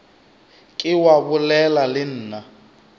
ke wa bolela le nna